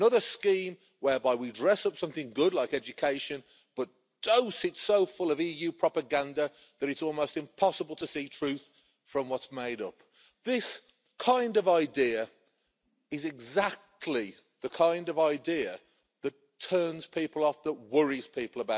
Another scheme whereby we dress up something good, like education, but dose it so full of EU propaganda that it is almost impossible to see truth from what is made up. This is exactly the kind of idea that turns people off, and that worries people.